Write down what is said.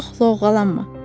çox lovğalanma.